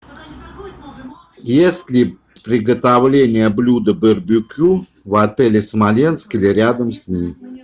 есть ли приготовление блюда барбекю в отеле смоленск или рядом с ним